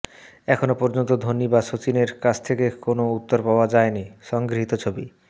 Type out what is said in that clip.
এখনও পর্যন্ত ধোনি বা সচিনের কাছ থেকে কোনও উত্তর পাওয়া যায়নি সংগৃহীত ছবি